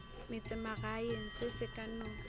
metsemagaeng se se ka no